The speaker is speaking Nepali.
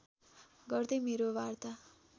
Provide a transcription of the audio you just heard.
गर्दै मेरो वार्ता